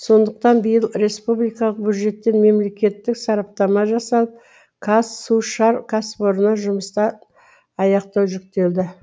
сондықтан биыл республикалық бюджеттен мемлекеттік сараптама жасалып қазсушар кәсіпорынына жұмысты аяқтау жүктелді